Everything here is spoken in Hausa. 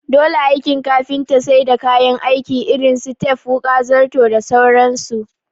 Dole aikin kafinta sai da kayan aiki irin su tep wuƙa, zarto da sauran su